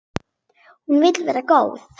Hún vill vera góð.